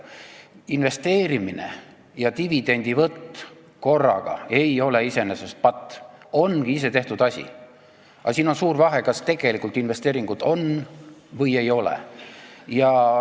Investeerimine ja dividendivõtt korraga ei ole iseenesest patt, see ongi isetehtud asi, aga siin on suur vahe, kas investeeringud tegelikult on või ei ole.